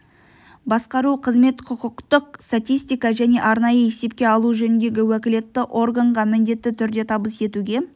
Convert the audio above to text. басқару қызмет құқықтық статистика және арнайы есепке алу жөніндегі уәкілетті органға міндетті түрде табыс етуге